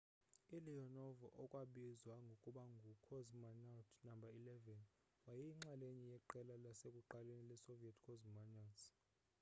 u-leonov okwabizwa ngokuba ngu cosmonaut no 11 wayeyinxalenye yeqela lasekuqaleni le soviet cosmonauts